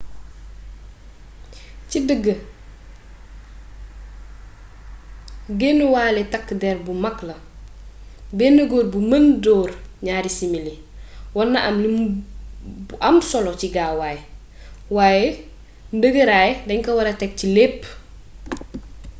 ci dëgg guenëwalë takk derr bu magg la bénn góor bu mën door gnaari simili warna am lim bu am solo ci gaway wayé ndëgëraay dañ ko wara taggat ci lepp